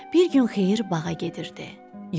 Bir gün xeyir bağa gedirdi.